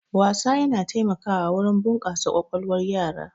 Wasa yana taimakawa wurin bunƙasa ƙwaƙwalwar yara.